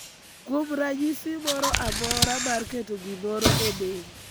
kuom ranyisi moro amora mar keto gimoro e del,